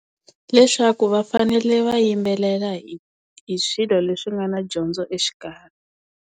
Leswaku va fanele va yimbelela hi hi swilo leswi nga na dyondzo exikarhi.